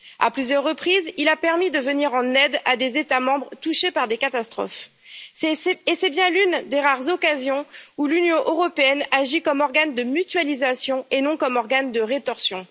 À plusieurs reprises, il a permis de venir en aide à des États membres touchés par des catastrophes et c'est bien l'une des rares occasions où l'Union européenne agit comme organe de mutualisation et non comme organe de rétorsion.